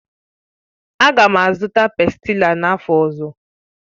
Aga m azụta pástila n'afọ ọzọ